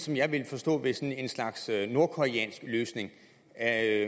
jeg ville forstå ved sådan en slags nordkoreansk løsning er